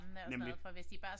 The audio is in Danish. Nemlig